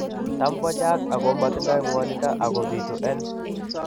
Tam ko chang, ako matindo ngwanindo ako bitu en